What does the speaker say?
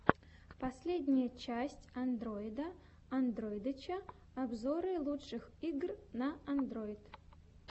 последняя часть андройда андройдыча обзоры лучших игр на андройд